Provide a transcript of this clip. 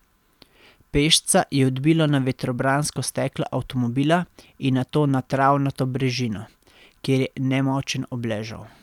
Pešca je odbilo na vetrobransko steklo avtomobila in nato na travnato brežino, kjer je nemočen obležal.